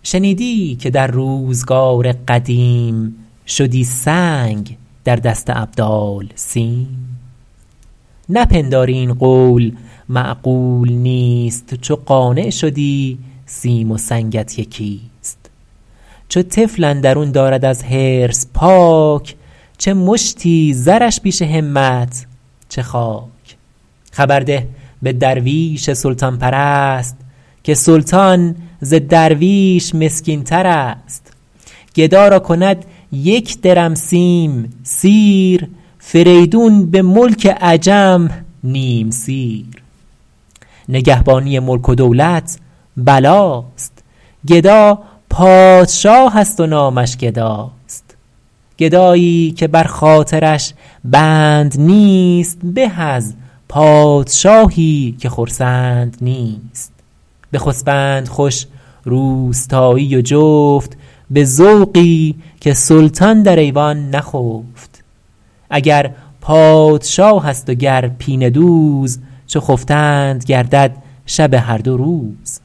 یکی طفل دندان برآورده بود پدر سر به فکرت فرو برده بود که من نان و برگ از کجا آرمش مروت نباشد که بگذارمش چو بیچاره گفت این سخن نزد جفت نگر تا زن او را چه مردانه گفت مخور هول ابلیس تا جان دهد همان کس که دندان دهد نان دهد تواناست آخر خداوند روز که روزی رساند تو چندین مسوز نگارنده کودک اندر شکم نویسنده عمر و روزی است هم خداوندگاری که عبدی خرید بدارد فکیف آن که عبد آفرید تو را نیست این تکیه بر کردگار که مملوک را بر خداوندگار شنیدی که در روزگار قدیم شدی سنگ در دست ابدال سیم نپنداری این قول معقول نیست چو قانع شدی سیم و سنگت یکی است چو طفل اندرون دارد از حرص پاک چه مشتی زرش پیش همت چه خاک خبر ده به درویش سلطان پرست که سلطان ز درویش مسکین ترست گدا را کند یک درم سیم سیر فریدون به ملک عجم نیم سیر نگهبانی ملک و دولت بلاست گدا پادشاه است و نامش گداست گدایی که بر خاطرش بند نیست به از پادشاهی که خرسند نیست بخسبند خوش روستایی و جفت به ذوقی که سلطان در ایوان نخفت اگر پادشاه است و گر پینه دوز چو خفتند گردد شب هر دو روز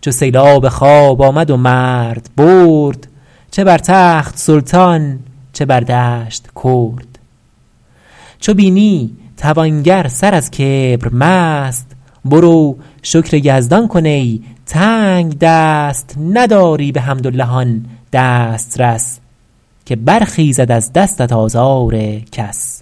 چو سیلاب خواب آمد و مرد برد چه بر تخت سلطان چه بر دشت کرد چو بینی توانگر سر از کبر مست برو شکر یزدان کن ای تنگدست نداری بحمدالله آن دسترس که برخیزد از دستت آزار کس